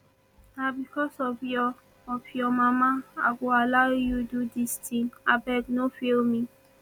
na because of your of your mama i go allow you do dis thing abeg no fail me